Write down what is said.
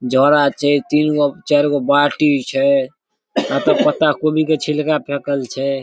झोड़ा छै तीन गो चार गो बाटी छै अत्ता पत्ता गोभी के छिलका फेकल छै ।